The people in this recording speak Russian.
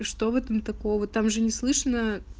что в этом такого там же не слышно